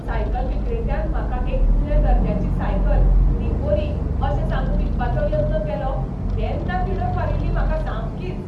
Cycle विक्रेत्यान म्हाका एक उण्या दर्ज्याची सायकल ती बरी अशें सांगून विकपाचो यत्न केलो तेन्ना तिडक मारील्ली म्हाका सामकीच.